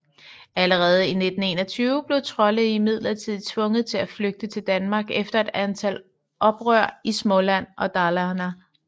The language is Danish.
Allerede 1521 blev Trolle imidlertid tvunget til at flygte til Danmark efter et antal oprør i Småland og Dalarna